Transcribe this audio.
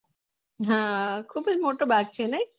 હા ખુંજ મોટો બધ છે નહી